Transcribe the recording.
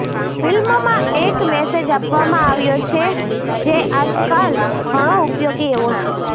ફિલ્મમાં એક મેસેજ આપવામાં આવ્યો છે જે આજકાલ ઘણો ઉપયોગી એવો છે